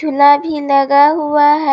प्ला भी लगा हुआ है।